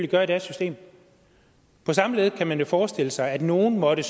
gøre i deres system på samme måde kan man jo forestille sig at nogen måtte